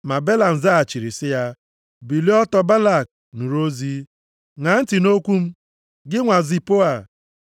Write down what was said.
Ma Belam zaghachiri sị ya: “Bilie ọtọ Balak, nụrụ ozi. Ṅaa ntị nʼokwu m, gị nwa Zipoa.